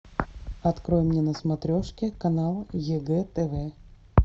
открой мне на смотрешке канал егэ тв